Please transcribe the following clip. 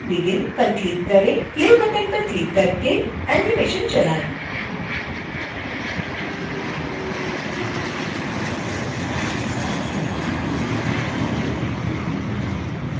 play button पर click करके animation चलाएं